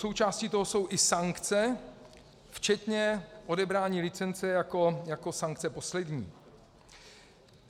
Součástí toho jsou i sankce včetně odebrání licence jako sankce poslední.